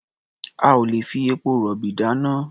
A ò lè fi epo-rọ̀bì dáná.